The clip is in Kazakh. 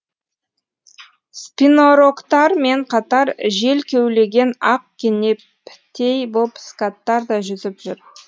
спинорогтар мен қатар жел кеулеген ақ кенептей боп скаттар да жүзіп жүр